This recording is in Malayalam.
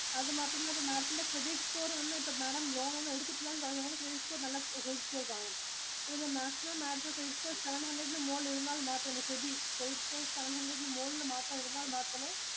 അത് മാത്രമല്ല Madam ത്തിന്റെ credit score ഒന്നും ഇല്ല. Madam loan ഒന്നും എടുത്തിട്ടില്ലന്നു പറഞ്ഞു. അതുകൊണ്ടു credit score നല്ല credit score വേണം. ഇല്ല maximum madam ത്തിനു credit score seven hundred ഇന് മുകളിൽ ഇരുന്നാൽ മാത്രമേ SEBI credit score seven hundred ഇന് മുകളിൽ മാത്രം ഇരുന്നാൽ മാത്രമേ.